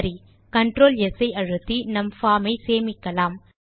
சரி control S ஐ அழுத்தி நம் பார்ம் ஐ சேமிக்கலாம்